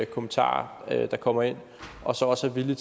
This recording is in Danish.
kommentarer der kommer ind og så også er villig